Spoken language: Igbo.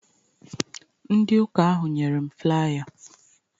Ndi ụka ahụ nyere m flaya